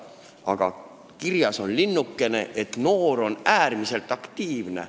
Samal ajal on kirjas linnukene, et see noor on äärmiselt aktiivne.